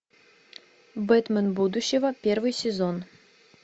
бэтмен будущего первый сезон